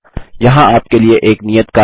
यहाँ आपके लिए एक नियत कार्य है